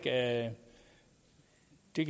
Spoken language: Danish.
de